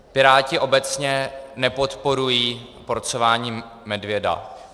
Piráti obecně nepodporují porcování medvěda.